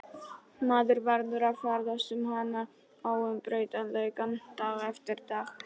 Maður verður að ferðast um hana, óumbreytanleikann, dag eftir dag.